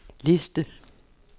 liste